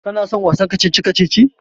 Kana son wasan kacici-kacicin?